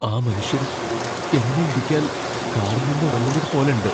ആ മനുഷ്യൻ എന്നെ ഇടിക്കാൻ കാറിൽ നിന്ന് ഇറങ്ങുന്നത് പോലെണ്ട്.